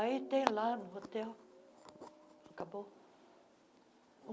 Aí tem lá no hotel... Acabou.